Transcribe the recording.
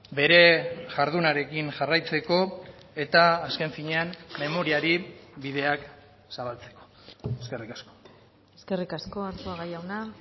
bere jardunarekin jarraitzeko eta azken finean memoriari bideak zabaltzeko eskerrik asko eskerrik asko arzuaga jauna